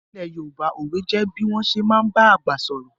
Ní ilẹ̀ Yorùbá, òwe jẹ bí wọ́n ṣé máa ń ba àgbà sọ̀rọ̀